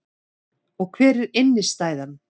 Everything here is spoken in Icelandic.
Og hver er innstæðan